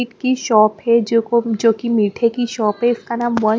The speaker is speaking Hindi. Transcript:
इट की शॉप है जो को जोकि मीठे की शॉप है इसका नाम वन --